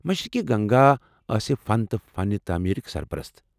مشرقی گنگا آسہِ فن تہٕ فن تعمیرٕکۍ سرپرست ۔